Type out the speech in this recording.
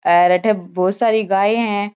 हेर अठे बहोत सारी गाये है।